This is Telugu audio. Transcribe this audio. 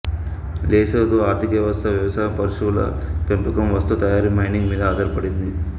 లెసోతో ఆర్ధికవ్యవస్థ వ్యవసాయం పశువుల పెంపకం వస్తు తయారీ మైనింగ్ మీద ఆధారపడింది